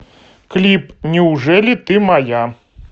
клип неужели ты моя